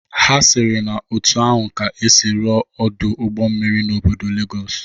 Ha sịrị na otu ahụ ka esi rụọ Ọdụ ụgbọ mmiri n'obodo Legọs